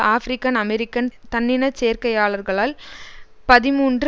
African American தன்னினச் சேர்க்கையாளர்களால் பதிமூன்று